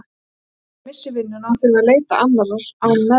Óttumst að hann missi vinnuna og þurfi að leita annarrar án meðmæla.